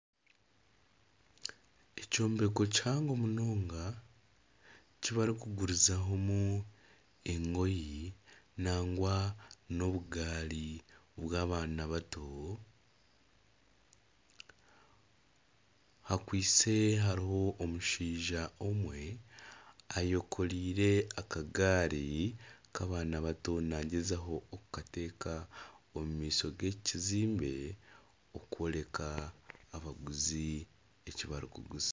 Ekyombeko kihango munonga eki barikugurizaho engoye nangwa n'obugaari bw'abaana bato, hakwaitse hariho omushaija omwe ayekoreire akagaari nk'abaana bato naagyezaho okukata omu maisho g'eki kizimbe okworeka abaguzi eki barikuguza